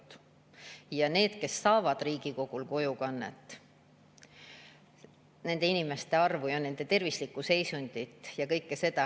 Kui vaadata neid, kes saavad riigi kulul kojukannet, nende inimeste arvu, nende tervislikku seisundit ja kõike seda …